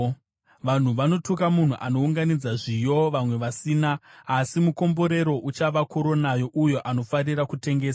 Vanhu vanotuka munhu anounganidza zviyo vamwe vasina, asi mukomborero uchava korona youyo anofarira kutengesa.